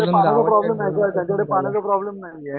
पाण्याचा प्रोब्लमन आहे त्यांच्याकडे पाण्याचा प्रॉब्लम नाही म्हणजे.